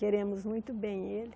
Queremos muito bem ele.